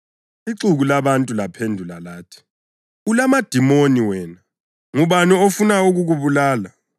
Ixuku labantu laphendula lathi, “Ulamadimoni wena. Ngubani ofuna ukukubulala?”